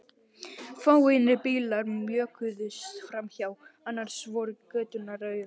Fáeinir bílar mjökuðust framhjá, annars voru göturnar auðar.